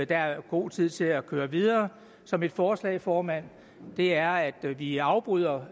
der er god tid til at køre videre så mit forslag formand er at vi afbryder